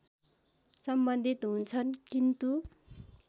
सम्बन्धित हुन्छन् किन्तु